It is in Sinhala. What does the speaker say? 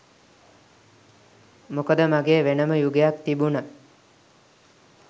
මොකද මගේ වෙනම යුගයක් තිබුණා.